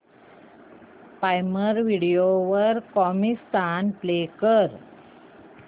prime video वर Comicstaan play कर